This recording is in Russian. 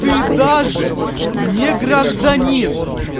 ты даже не гражданин